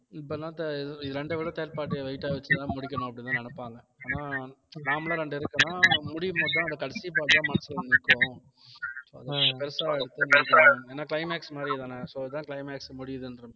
இப்பெல்லாம் த~ இரண்டை விட third part அ weight ஆ வச்சுதான் முடிக்கணும் அப்படின்னுதான் நினைப்பாங்க ஆனா normal ஆ ரெண்டு இருக்குன்னா முடியும் போதுதான் அந்த கடைசி part தான் மனசுக்குல நிற்கும் ஏன்னா climax மாதிரிதானே so இதான் climax முடியுதுன்ற மாதிரி